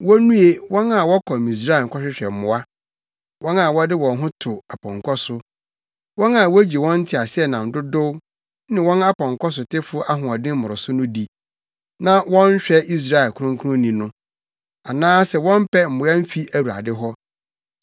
Wonnue, wɔn a wɔkɔ Misraim kɔhwehwɛ mmoa, wɔn a wɔde wɔn ho to apɔnkɔ so, wɔn a wogye wɔn nteaseɛnam dodow ne wɔn apɔnkɔsotefo ahoɔden mmoroso no di, na wɔnhwɛ Israel Kronkronni no, anaasɛ wɔmpɛ mmoa mfi Awurade hɔ.